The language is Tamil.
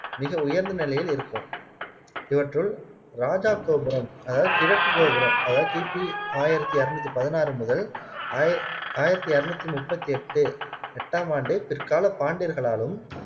மிக உயர்ந்தநிலையில் இருக்கும் இவற்றுள் ராதாகோபுரம் அதாவது கிழக்கு கோபுரம் அதாவது கிபி ஆயிரத்தி அறுநூத்தி பதினாறு முதல் ஆயி ஆயிரத்தி அறுநூத்தி முப்பத்தி எட்டு எட்டாம் ஆண்டு பிற்கால பாண்டியர்களாலும்